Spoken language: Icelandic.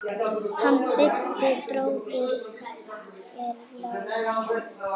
Hann Bubbi bróðir er látinn.